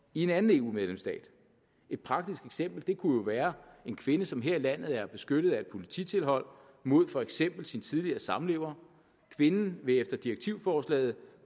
i en anden eu medlemsstat et praktisk eksempel kunne være en kvinde som her i landet er beskyttet af et polititilhold mod for eksempel sin tidligere samlever kvinden vil efter direktivforslaget